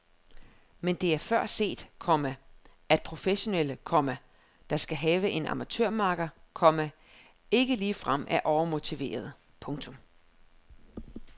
Men det er før set, komma at professionelle, komma der skal have en amatørmakker, komma ikke ligefrem er overmotiverede. punktum